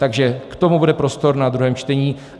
Takže k tomu bude prostor v druhém čtení.